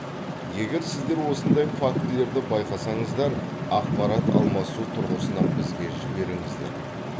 егер сіздер осындай фактілерді байқасаңыздар ақпарат алмасу тұрғысынан бізге жіберіңіздер